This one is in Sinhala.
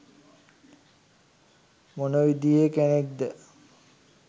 මොන විදියේ කෙනෙක්ද?